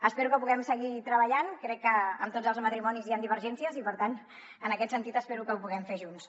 espero que ho puguem seguir treballant crec que en tots els matrimonis hi han divergències i per tant en aquest sentit espero que ho puguem fer junts